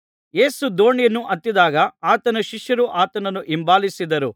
ಯೇಸು ದೋಣಿಯನ್ನು ಹತ್ತಿದಾಗ ಆತನ ಶಿಷ್ಯರು ಆತನನ್ನು ಹಿಂಬಾಲಿಸಿದರು